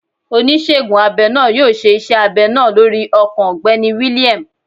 Onísegun abẹ naa yoo ṣe iṣẹ abẹ naa lorí ọkàn Ọgbẹni William.